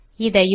இதையும்